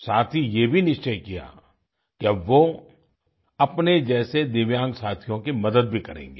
साथ ही ये भी निश्चय किया कि अब वो अपने जैसे दिव्यांग साथियों की मदद भी करेंगे